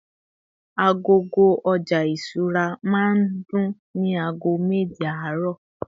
agogo oja ìṣura ma dùn ni ago meje aaro